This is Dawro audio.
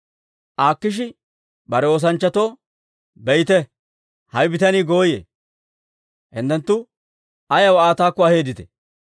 Akiishi bare oosanchchatoo, «Be'ite; hawe bitanii gooyee. Hinttenttu ayaw Aa taakko aheedditee?